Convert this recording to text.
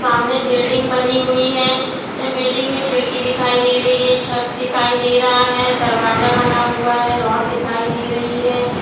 सामने बिल्डिंग बनी हुई है बिल्डिंग में खिड़की दिखाई दे रही है छत दिखाई दे रहा है दरवाजा बना हुआ है रॉड्‌ दिखाई दे रही हैं ।